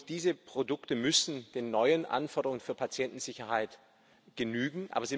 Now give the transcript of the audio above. Diese Produkte müssen den neuen Anforderungen für Patientensicherheit genügen.